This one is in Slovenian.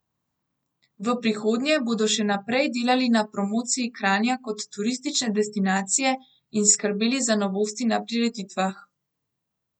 V prihodnje bodo še naprej delali na promociji Kranja kot turistične destinacije in skrbeli za novosti na prireditvah.